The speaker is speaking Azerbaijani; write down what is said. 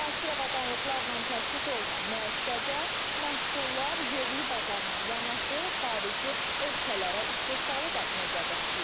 Müasir avadanlıqlarla təchiz olunan müəssisədə məhsullar yerli bazarla yanaşı xarici ölkələrə istehsalı da nəzərdə tutulur.